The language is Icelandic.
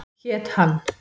Hét hann